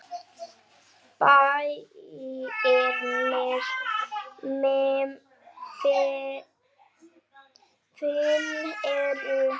Bæirnir fimm eru